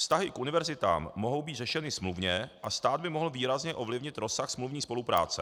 Vztahy k univerzitám mohou být řešeny smluvně a stát by mohl výrazně ovlivnit rozsah smluvní spolupráce.